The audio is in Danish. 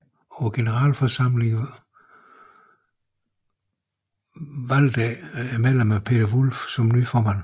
På generalforsamling valgte medlemmerne Peter Wulff som ny formand